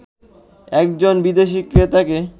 একজন বিদেশি ক্রেতাকে